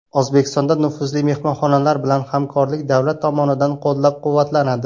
O‘zbekistonda nufuzli mehmonxonalar bilan hamkorlik davlat tomonidan qo‘llab-quvvatlanadi.